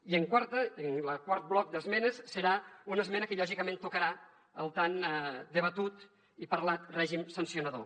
i el quart bloc d’esmenes serà una esmena que lògicament tocarà el tan debatut i parlat règim sancionador